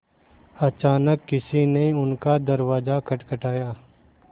अचानक किसी ने उनका दरवाज़ा खटखटाया